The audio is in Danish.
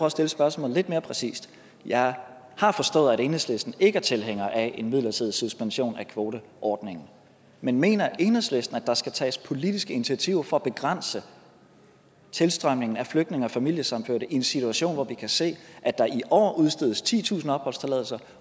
at stille spørgsmålet lidt mere præcist jeg har forstået at enhedslisten ikke er tilhænger af en midlertidig suspension af kvoteordningen men mener enhedslisten at der skal tages politiske initiativer for at begrænse tilstrømningen af flygtninge og familiesammenførte i en situation hvor vi kan se at der i år udstedes titusind opholdstilladelser